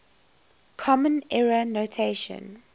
common era notation